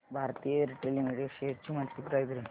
Bharti Airtel limited shares ची monthly price range